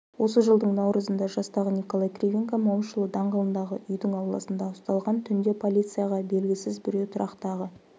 осы жылдың наурызында жастағы николай кривенко момышұлы даңғылындағы үйдің ауласында ұсталған түнде полицияға белгісіз біреу тұрақтағы